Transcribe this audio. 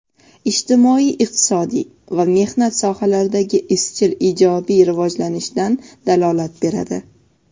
ijtimoiy-iqtisodiy va mehnat sohalaridagi izchil ijobiy rivojlanishdan dalolat beradi.